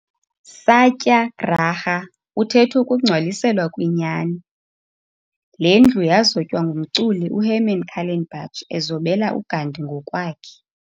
Satyararha uthethukungcwaliselwa kwinyani. Lendlu yazotywa ngumculi uHerman Kallenbach ezobela uGandhi ngokwakhe.